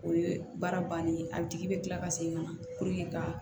O ye baara bannen ye a bi tigi bɛ kila ka segin ka na ka